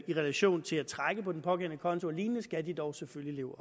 i relation til at trække på den pågældende konto alene skal de dog selvfølgelig leve